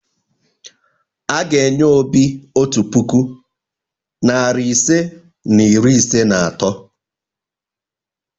A ga-enye Obi otu puku, narị ise na iri ise na atọ.